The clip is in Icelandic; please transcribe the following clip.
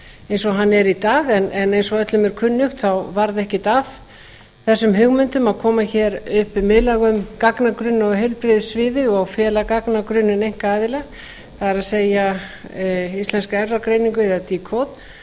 eins og hann er í dag en eins og öllum er kunnugt varð ekkert af þessum hugmyndum að koma upp miðlægum gagnagrunni á heilbrigðissviði og fela gagnagrunninn einkaaðila það er íslenskri erfðagreiningu eða decode